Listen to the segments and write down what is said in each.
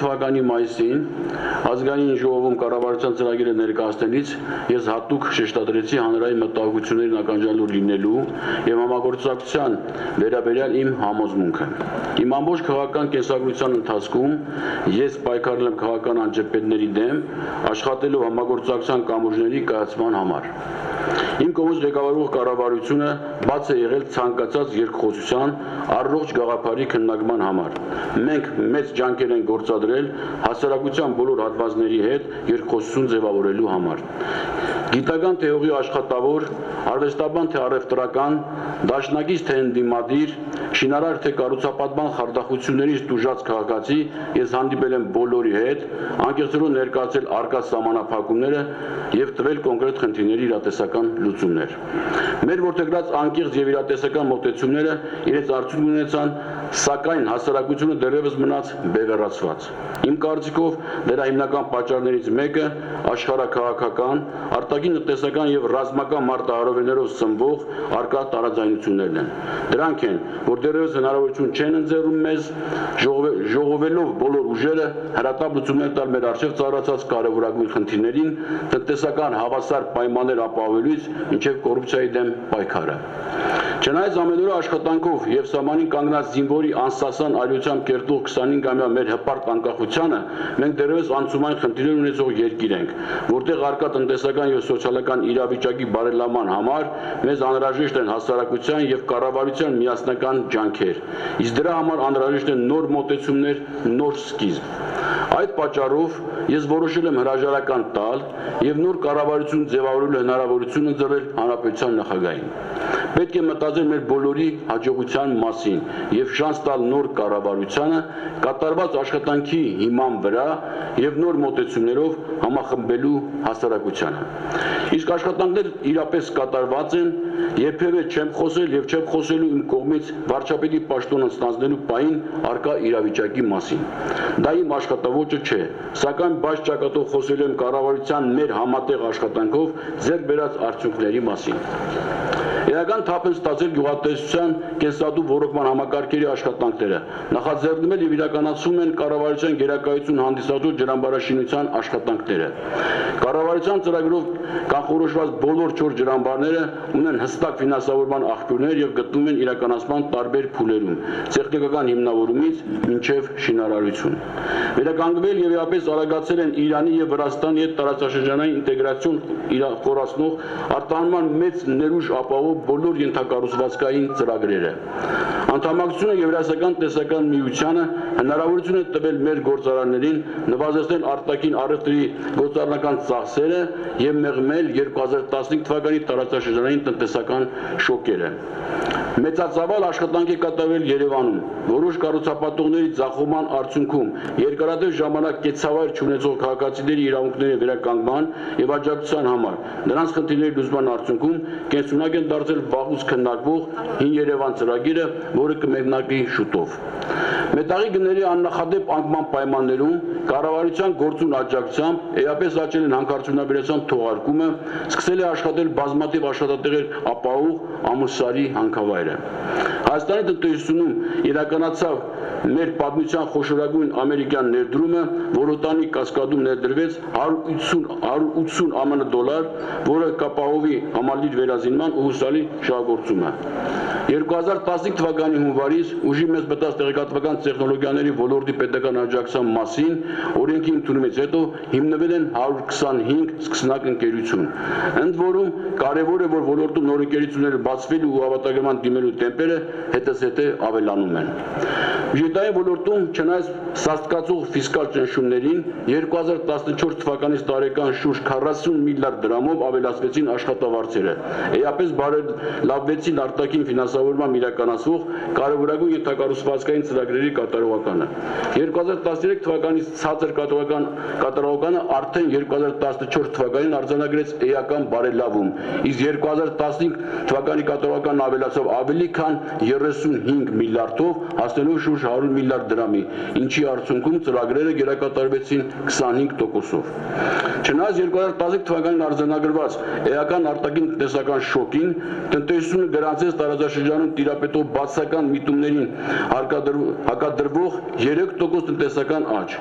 թ մայիսին Ազգային ժողովում կառավարության ծրագիրը ներկայացնելիս ես հատուկ շեշտադրեցի հանրային մտահոգություններին ականջալուր լինելու և համագործակցության վերաբերյալ իմ համոզմունքը: Իմ ամբողջ քաղաքական կենսագրության ընթացքում ես պայքարել եմ քաղաքական անջրպետների դեմ` աշխատելով համագործակցության կամուրջների կայացման համար: Իմ կողմից ղեկավարվող կառույցը բաց է եղել ցանկացած երկխոսության, առողջ գաղափարի քննարկման համար: Մենք մեծ ջանքեր ենք գործադրել հասարակության բոլոր հատվածների հետ երկխոսություն ձևավորելու համար: Գիտնական թե հողի աշխատավոր, արվեստաբան թե առևտրական, դաշնակից թե ընդդիմադիր, շինարար թե կառուցապատման խարդախություններից տուժած քաղաքացի, ես հանդիպել եմ բոլորի հետ՝ անկեղծորեն ներկայացրել առկա սահմանափակումները և տվել կոնկրետ խնդիրների իրատեսական լուծումներ: Մեր որդեգրած անկեղծ և իրատեսական մոտեցումներն իրենց արդյունքն ունեցան՝ սակայն հասարակությունը դեռևս մնաց բևեռացված: Իմ կարծիքով, դրա հիմնական պատճառներից մեկն աշխարհաքաղաքական, արտաքին տնտեսական և ռազմական մարտահրավերներով սնվող առկա տարաձայնություններն են: Դրանք են, որ դեռևս հնարավորություն չեն ընձեռում մեզ՝ ժողովելով բոլոր ուժերը, հրատապ լուծումներ տալ մեր առջև ծառացած կարևորագույն խնդիրներին՝ տնտեսական հավասար պայմաններ ապահովելուց մինչև կոռուպցիայի դեմ պայքարը: Չնայած ամենօրյա աշխատանքով և սահմանին կանգնած զինվորի անսասան արիությամբ կերտվող 25-ամյա մեր հպարտ անկախությանը, մենք դեռևս անցումային խնդիրներ ունեցող երկիր ենք, որտեղ առկա տնտեսական և սոցիալական իրավիճակի բարելավման համար մեզ անհրաժեշտ են հասարակության և կառավարության միասնական ջանքեր: Իսկ դրա համար անհրաժեշտ են նոր մոտեցումներ, նոր սկիզբ: Այդ պատճառով, ես որոշել եմ հրաժարական տալ և նոր կառավարություն ձևավորելու հնարավորություն ընձեռել հանրապետության նախագահին: Պետք է մտածել մեր բոլորի հաջողության մասին և շանս տալ նոր կառավարությանը՝ կատարված աշխատանքի հիման վրա և նոր մոտեցումներով համախմբելու հասարակությանը: Իսկ աշխատանքներ իրապես կատարված են: Երբևէ չեմ խոսել և չեմ խոսելու իմ կողմից վարչապետի պաշտոնը ստանձնելու պահին առկա իրավիճակի մասին: Դա իմ աշխատաոճը չէ: Սակայն բաց ճակատով խոսելու եմ կառավարության մեր համատեղ աշխատանքով ձեռք բերած արդյունքների մասին: Էական թափ են ստացել գյուղատնտեսության կենսատու ոռոգման համակարգերի աշխատանքները, նախաձեռնվել և իրականցվում են կառավարության գերակայություն հանդիսացող ջրամբարաշինության աշխատանքները: Կառավարության ծրագրով կանխորոշված բոլոր չորս ջրամբարներն ունեն հստակ ֆինանսավորման աղբյուրներ և գտնվում են իրականացման տարբեր փուլերում՝ տեխնիկական հիմնավորումից մինչև շինարարություն: Վերականգնվել և էապես արագացել են Իրանի և Վրաստանի հետ տարածաշրջանային ինտեգրացիան խորացնող, արտահանման մեծ ներուժ ապահովող բոլոր ենթակառուցվածքային ծրագրերը: Անդամակցությունը Եվրասիական տնտեսական միությանը հնարավորություն է տվել մեր գործարարներին նվազեցնել արտաքին առևտրի գործառնական ծախսերը և մեղմել 2015 թ տարածաշրջանային տնտեսական շոկերը: Մեծածավալ աշխատանք է կատարվել Երևանում որոշ կառուցապատողների ձախողման արդյունքում երկարատև ժամանակ կեցավայր չունեցող քաղաքացիների իրավունքների վերականգնման և աջակցության համար, նրանց խնդիրների լուծման արդյունքում կենսունակ է դարձել վաղուց քննարկվող «Հին Երևան» ծրագիրը, որը կմեկնարկի շուտով: Մետաղի գների աննախադեպ անկման պայմաններում կառավարության գործուն աջակցությամբ էապես աճել է հանքարդյունաբերության թողարկումը, սկսել է աշխատել բազմաթիվ աշխատատեղեր ապահովող Ամուլսարի հանքավայրը: Հայաստանի տնտեսությունում իրականացավ մեր պատմության խոշորագույն ամերիկյան ներդրումը՝ Որոտանի կասկադում ներդրվեց 180 մլն ԱՄՆ դոլար, որը կապահովի համալիրի վերազինումն ու հուսալի շահագործումը: 2015թ․-ի հունվարից ուժի մեջ մտած «Տեղեկատվական տեխնոլոգիաների ոլորտի պետական աջակցության մասին» ՀՀ օրենքի ընդունումից հետո հիմնվել են 125 սկսնակ ընկերություն: Ընդ որում, կարևոր է, որ ոլորտում նոր ընկերությունների բացվելու ու հավաստագրման դիմելու տեմպերը հետզհետե ավելանում են։ Բյուջետային ոլորտում, չնայած սաստկացող ֆիսկալ ճնշումներին, 2014 թվականից տարեկան շուրջ 40 մլրդ դրամով ավելացվեցին աշխատավարձերը, Էապես բարելավվեցին արտաքին ֆինանսավորմամբ իրականացվող կարևորագույն ենթակառուցվածքային ծրագրերի կատարողականը: 2013 թ ցածր կատարողականն արդեն 2014 թ արձանագրեց էական բարելավում, իսկ 2015 թ կատարողականն ավելացավ ավելի քան 35 մլրդ դրամով՝ հասնելով շուրջ 100 մլրդ դրամի, ինչի արդյունքում ծրագրերը գերակատարվեցին 25 տոկոսով: Չնայած 2015թ արձանագրված էական արտաքին տնտեսական շոկին, տնտեսությունը գրանցեց տարածաշրջանում տիրապետող բացասական միտումներին հակադրվող 3 տոկոս տնտեսական աճ: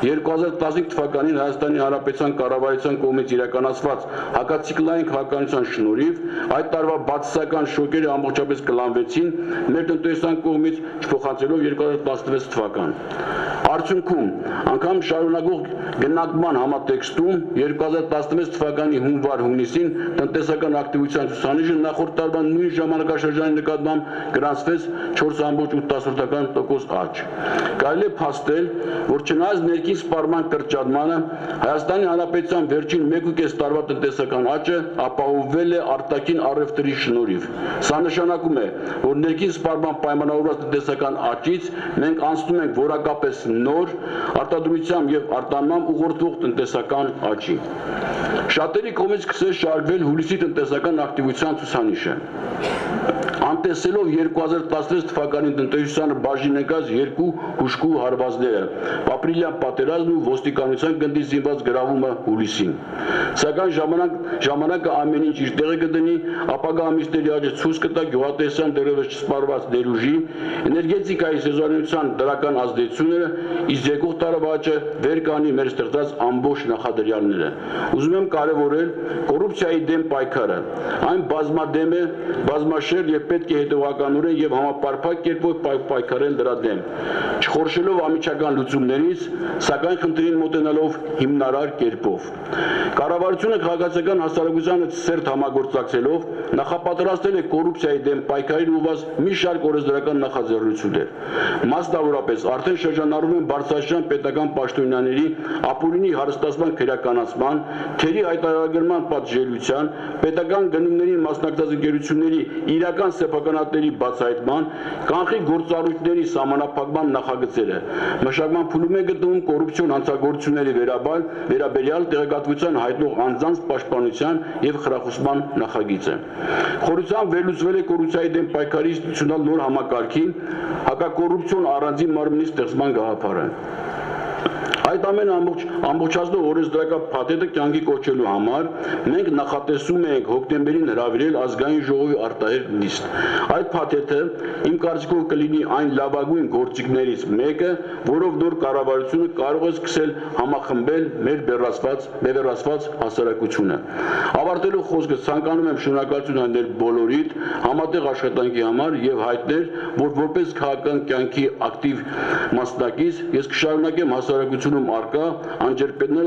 2015 թվականին Հայաստանի Հանրապետության կառավարության կողմից իրականացված հակացիկլային քաղաքականության շնորհիվ այդ տարվա բացասական շոկերն ամբողջապես կլանվեցին մեր տնտեսության կողմից՝ չփոխանցվելով 2016 թվական: Արդյունքում, անգամ շարունակվող գնանկման համատեքստում 2016 թվականի հունվար-հունիսին տնտեսական ակտիվության ցուցանիշը նախորդ տարվա նույն ժամանակաշրջանի նկատմամբ գրանցեց 4.8% աճ: Կարելի է փաստել, որ չնայած ներքին սպառման կրճատմանը, Հայաստանի Հանրապետության վերջին մեկուկես տարվա տնտեսական աճը ապահովվել է արտաքին առևտրի շնորհիվ: Սա նշանակում է, որ ներքին սպառմամբ պայմանավորված տնտեսական աճից մենք անցնում ենք որակապես նոր՝ արտադրությամբ և արտահանմամբ ուղղորդվող տնտեսական աճի: Շատերի կողմից սկսեց շահարկվել հուլիսի տնտեսական ակտիվության ցուցանիշը՝ անտեսելով 2016 թվականին տնտեսությանը բաժին ընկած երկու հուժկու հարվածները՝ ապրիլյան պատերազմն ու ոստիկանության գնդի զինված գրավումը հուլիսին: Սակայն ժամանակն ամեն ինչ իր տեղը կդնի՝ ապագա ամիսների աճը ցույց կտա գյուղատնտեսության դեռևս չսպառված ներուժի, էներգետիկայի սեզոնայնության դրական ազդեցությունները, իսկ եկող տարվա աճը վեր կհանի մեր ստեղծած առողջ նախադրյալները: Ուզում եմ կարևորել կոռուպցիայի դեմ պայքարը: Այն բազմադեմ է, բազմաշերտ և պետք է հետևողականորեն և համապարփակ կերպով պայքարել դրա դեմ՝ չխորշելով անմիջական լուծումներից, սակայն խնդրին մոտենալով հիմնարար կերպով: Կառավարությունը քաղաքացիական հասարակության հետ սերտ համագործակցելով նախապատրաստել է կոռուպցիայի դեմ պայքարին ուղղված մի շարք օրենսդրական նախաձեռնություններ: Մասնավորապես արդեն շրջանառվում են Բարձրաստիճան պետական պաշտոնյաների ապօրինի հարստացման քրեականացման, թերի հայտարարագրման պատժելիության, պետական գնումներին մասնակցող ընկերությունների իրական սեփականատերերի բացահայտման, կանխիկ գործառնությունների սահմանափակման նախագծերը: Մշակման փուլում է գտնվում կոռուպցիոն հանցագործությունների վերաբերյալ տեղեկատվություն հայտնող անձանց պաշտպանության և խրախուսման նախագիծը: Խորությամբ վերլուծվել է կոռուպցիայի դեմ պայքարի ինստիտուցիոնալ նոր համակարգի` հակակոռուպցիոն առանձին մարմնի ստեղծման գաղափարը: Այս ամենն ամբողջացնող օրենսդրական փաթեթը կյանքի կոչելու համար մենք նախատեսում էինք հոկտեմբերին հրավիրել Ազգային Ժողովի արտահերթ նիստ: Այդ փաթեթն, իմ կարծիքով, կլինի այն լավագույն գործիքներից մեկը, որով նոր կառավարությունը կարող է սկսել համախմբել մեր բևեռացված հասարակությունը: Ավարտելով խոսքս, ցանկանում եմ շնորհակալություն հայտնել բոլորիդ համատեղ աշխատանքի համար և հայտնել, որ որպես քաղաքական կյանքի ակտիվ մասնակից, ես կշարունակեմ հասարակությունում առկա անջրպետները